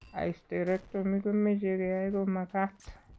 Hysterectomy ko meche keyai ko magat.